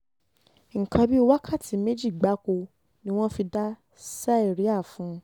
nǹkan bíi wákàtí mẹ́jọ gbáko ni wọ́n fi dá síríà fún un